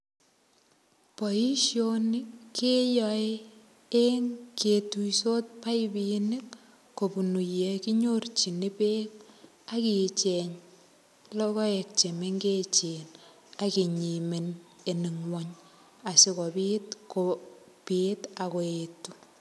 Boisoni, keyae eng ketuisot paipinik, kobunu ye kinyorchin beek, akicheng logoek che mengechen. Akinyimeny en ng'uny, asikobit kobit akoet.